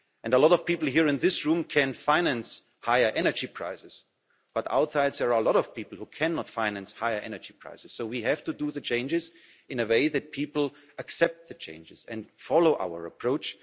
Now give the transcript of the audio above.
A lot of people here in this room can finance higher energy prices, but outside there are a lot of people who cannot finance higher energy prices. So we have to do the changes in a way that people accept the changes and follow our approach.